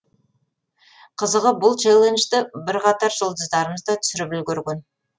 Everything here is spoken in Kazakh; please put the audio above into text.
қызығы бұл челленджді бірқатар жұлдыздарымыз да түсіріп үлгерген